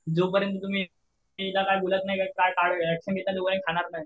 जोपर्यंत तुम्ही काय बोलत नाही काय ऍक्शन घेत नाही तोपर्यंत काय खाणार नाही.